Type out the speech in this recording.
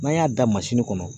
N'an y'a da kɔnɔ.